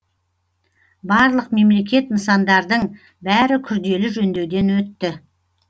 барлық мемлекет нысандардың бәрі күрделі жөндеуден өтті